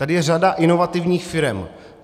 Tady je řada inovativních firem.